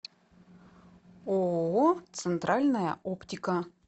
ооо центральная оптика